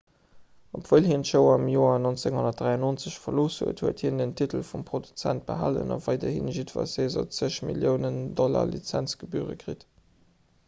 obwuel hien d'show am joer 1993 verlooss huet huet hien den titel vum produzent behalen a weiderhi jiddwer saison zeg milliounen dollar lizenzgebüre kritt